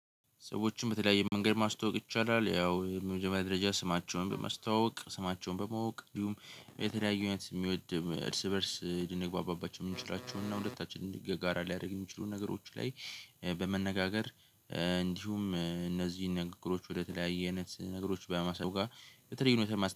ሰዎችን በተለያየ መንገድ ማስተዋወቅ ይቻላል ያው የመጀመሪያ ደረጃ ስማቸውን በማስተዋወቅ ስማቸውን በማወቅ እንዲሁም የተለያየ ሁኔታ የሚወድ እርስ በእርስ ድንግባባባቸውን የምንችላቸውን እና ሁለታችንም ጋራ ሊያደርግ የሚችሉ ነገሮች ላይ በመነጋገር እንዲሁም እነዚህን ንግግሮች ወደተለያየ አይነት ነገሮች በማሰብ ጋር በተለየ ሁኔታ።